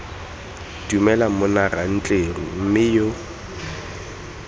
dumela monna rantleru mme yo